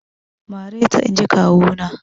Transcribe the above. Mareta inji kawu na!